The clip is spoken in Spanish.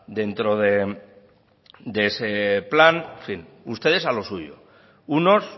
dentro de ese plan en fin ustedes a lo suyo unos